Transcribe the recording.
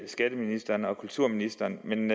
skatteministeren og kulturministeren men